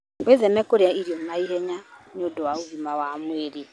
Wĩtheme kũrĩa irio naihenya nĩ ũndũ wa ũgima wa mwĩrĩ.